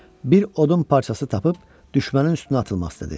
Bir odun parçası tapıb düşmənin üstünə atılmaq istədi.